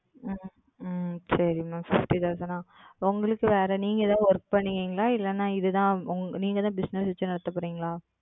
உம் சரி Ma'amFifty Thousand ஆ உங்களுக்கு வேற நீங்க எதாவது Work பண்றீங்களா? இல்லனா இதுதான் நீங்க தான் Bussiness வச்சி நடத்த போறீங்களா?